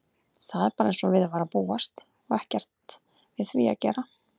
Það er bara einsog við var að búast og ekkert við því að gera.